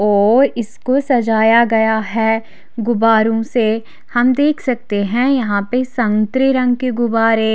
और इसको सजाया गया है गुबारों से हम देख सकते हैं यहाँ पे संतरे रंग के गुब्बारे--